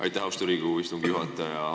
Aitäh, austatud Riigikogu istungi juhataja!